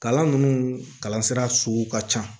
Kalan ninnu kalan sira sugu ka can